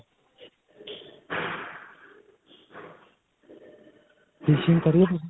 fishing ਕਰੀ ਹੈ ਤੁਸੀਂ?